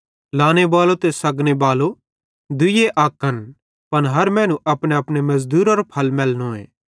लाने बालो ते सग्गने बालो दुइये अक्कन पन हर मैनू अपनेअपने मज़दूरारो फल मैलनोए